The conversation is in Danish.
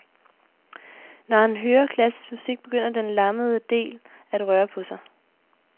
Når han hører klassisk musik, begynder den lammede del at røre på sig.